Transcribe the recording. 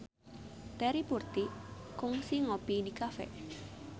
Terry Putri kungsi ngopi di cafe